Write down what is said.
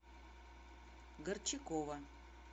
горчакова